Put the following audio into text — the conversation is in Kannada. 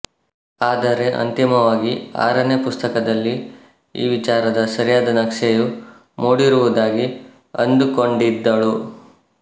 ಆದರೆ ಅಂತಿಮವಾಗಿ ಆರನೇ ಪುಸ್ತಕದಲ್ಲಿ ಈ ವಿಚಾರದ ಸರಿಯಾದ ನಕ್ಷೆಯು ಮೂಡಿರುವುದಾಗಿ ಅಂದುಕೊಂಡಿದ್ದಳು